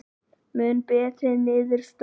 Mun betri niðurstaða